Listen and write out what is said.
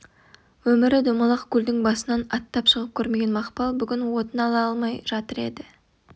өмірі домалақ көлдің басынан аттап шығып көрмеген мақпал бүгін отын ала алмай жатыр еді